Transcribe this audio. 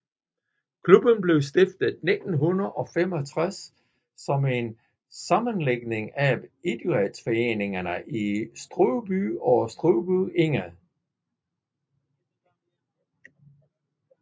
Klubben blev stiftet i 1965 som en sammenlægning af idrætsforeningerne i Strøby og Strøby Egede